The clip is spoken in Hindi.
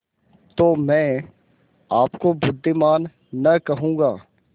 तो मैं आपको बुद्विमान न कहूँगा